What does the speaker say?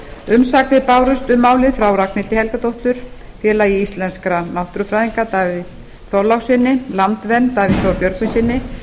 umsagnir bárust um málið frá ragnhildi helgadóttur félagi íslenskra náttúrufræðinga davíð þorlákssyni landvernd davíð þór björgvinssyni